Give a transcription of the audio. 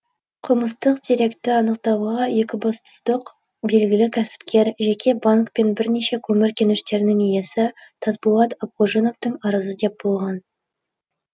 қылмыстық деректі анықтауға екібастұздық белгілі кәсіпкер жеке банк пен бірнеше көмір кеніштерінің иесі тасболат абғожиновтың арызы деп болған